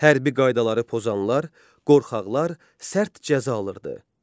Hərbi qaydaları pozanlar, qorxaqlar sərt cəza alırdı.